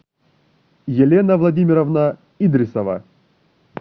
елена владимировна идрисова